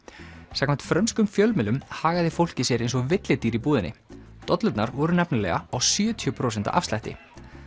samkvæmt frönskum fjölmiðlum hagaði fólkið sér eins og villidýr í búðinni dollurnar voru nefnilega á sjötíu prósenta afslætti